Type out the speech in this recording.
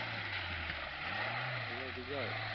Hello Bijoy.